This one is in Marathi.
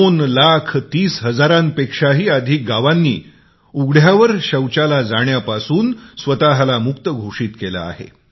2 लाख 30 हजारांपेक्षा ही अधिक गावे उघड्यावर शौचापासून स्वतःला मुक्त घोषित केली आहेत